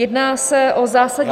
Jedná se o zásadní -